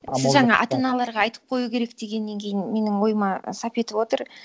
сіз жаңа ата аналарға айтып қою керек дегеннен кейін менің ойыма сап етіп отыр